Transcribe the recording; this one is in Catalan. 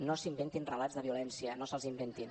no s’inventin relats de violència no se’ls inventin